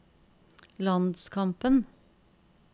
landskampen